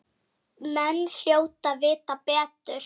Menn hljóta að vita betur.